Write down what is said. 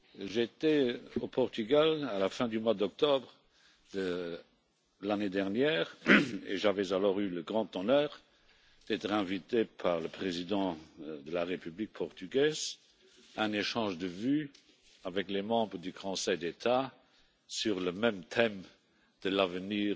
J'étais au Portugal à la fin du mois d'octobre de l'année dernière et j'avais alors eu le grand honneur d'être invité par le président de la République portugaise et de procéder à un échange de vues avec les membres du conseil d'État sur le même thème, celui de l'avenir